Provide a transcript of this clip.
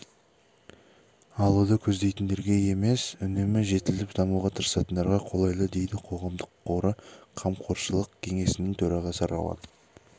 алуды көздейтіндерге емес үнемі жетіліп дамуға тырысатындарға қолайлы дейді қоғамдық қоры қамқоршылық кеңесінің төрағасы рауан